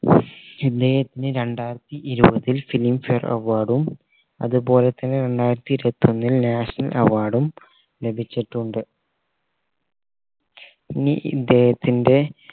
ഇദ്ദേഹത്തിന് രണ്ടായിരത്തി ഇരുപതിൽ filmfare award ഉം അതുപോലെ തന്നെ രണ്ടായിരത്തി ഇരുപത്തി ഒന്നിൽ national award ഉം ലഭിച്ചിട്ടുണ്ട് ഇനി ഇദ്ദേഹത്തിന്റെ